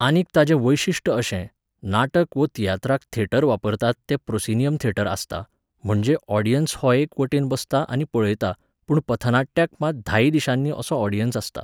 आनीक ताचें वैशिश्ट अशें, नाटक वो तियात्राक थेटर वापरतात तें प्रोसिनियम थेटर आसता, म्हणजे ऑडियन्स हो एकेच वटेन बसता आनी पळयता, पूण पथनाट्याक मात धायी दिशांनी असो ऑडियन्स आसता